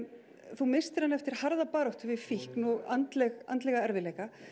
þú misstir hann eftir harða baráttu við fíkn og andlega andlega erfiðleika